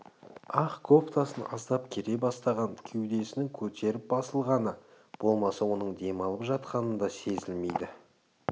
ақ кофтасын аздап кере бастаған кеудесінің көтеріліп-басылғаны болмаса оның демалып жатқаны да сезілмейді